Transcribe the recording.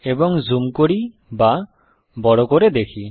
এবং জুম করি বা বড় করে দেখি